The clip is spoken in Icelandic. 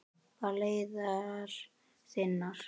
Far leiðar þinnar.